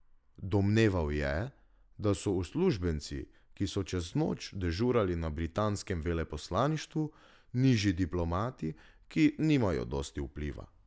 Domneval je, da so uslužbenci, ki so čez noč dežurali na britanskem veleposlaništvu, nižji diplomati, ki nimajo dosti vpliva.